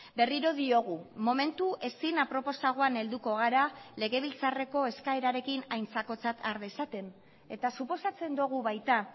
berriro diogu momentu ezin aproposagoan helduko gara legebiltzarreko eskaerarekin aintzakotzat har dezaten eta suposatzen dugu baita